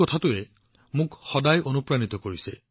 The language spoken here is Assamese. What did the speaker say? তেওঁৰ এই বিশেষত্বটোৱে মোক সদায় অনুপ্ৰাণিত কৰি আহিছে